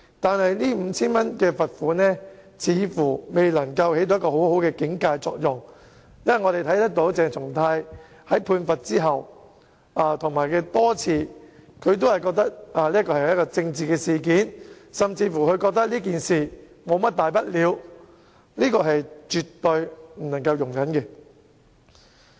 但是，這 5,000 元罰款似乎未能發揮很好的警誡作用，因為鄭松泰在被判罰後多次表示這只是一宗政治事件，他甚至認為這只是一宗小事，這是絕對不能容忍的。